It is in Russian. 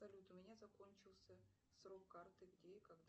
салют у меня закончился срок карты где и когда